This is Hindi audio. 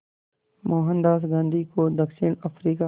मोहनदास गांधी को दक्षिण अफ्रीका